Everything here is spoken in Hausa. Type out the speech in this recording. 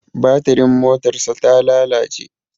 Batirin motarsa ta lalace.